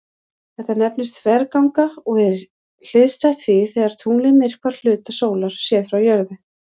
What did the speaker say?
Þetta nefnist þverganga og er hliðstætt því þegar tunglið myrkvar hluta sólar séð frá jörðu.